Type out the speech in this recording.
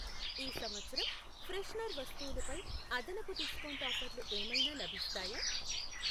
ఈ సంవత్సరం ఫ్రెషనర్ వస్తువులు పై అదనపు డిస్కౌంట్ ఆఫర్లు ఏమైనా లభిస్తాయా?